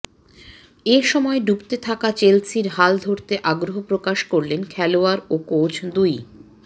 এসময় ডুবতে থাকা চেলসির হাল ধরতে আগ্রহ প্রকাশ করলেন খেলোয়াড় ও কোচ দুই